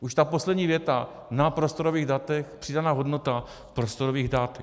Už ta poslední věta: na prostorových datech přidaná hodnota prostorových dat...